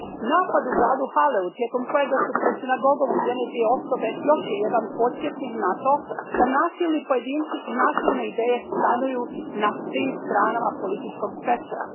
Napad u gradu Halleu tijekom kojega su pred sinagogom ubijene dvije osobe još je jedan podsjetnik na to da nasilni pojedinci i nasilne ideje stanuju na svim stranama političkog spektra.